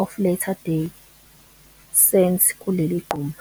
of Latter-day Saints kuleli gquma.